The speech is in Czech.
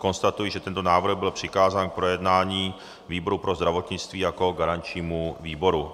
Konstatuji, že tento návrh byl přikázán k projednání výboru pro zdravotnictví jako garančnímu výboru.